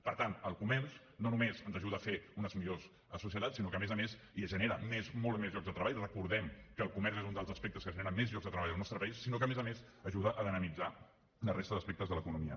per tant el comerç no només ens ajuda a fer unes millors societats i genera molts més llocs de treball recordem que el comerç és un dels aspectes que genera més llocs de treball al nostre país sinó que a més a més ajuda a dinamitzar la resta d’aspectes de l’economia